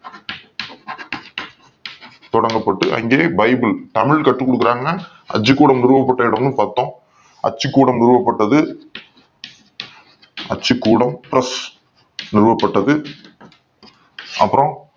தொடங்கப் பட்டு அங்கே பைபிள் தமிழ் கற்றுக் கொடுக் கிறார்கள் அச்சுக் கூடம் நிறுவப் பட்ட இடமும் பக்கம் அச்சுக் கூடம் நிறுவப் பட்டது அச்சுக்கூடம் press நிறுவப்பட்டது அப்புறம்